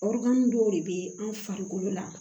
Ɔrɔbu dɔw de bɛ an farikolo la